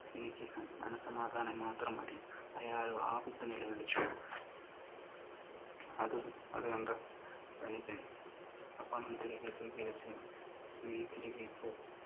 എനിക്ക് മനസ്സമാധാനം മാത്രം മതി. അയാൾ വാവിട്ടു നിലവിളിച്ചു. അത് കണ്ടു ധനികൻ ആ പണം തിരികെ സ്വീകരിച്ചു, നീ തിരികെ പോ